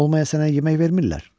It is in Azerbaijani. Olmaya sənə yemək vermirlər?